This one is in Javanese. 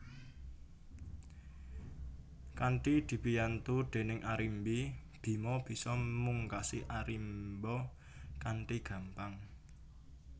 Kanthi dibiyantu déning Arimbi Bima bisa mungkasi Arimba kanthi gampang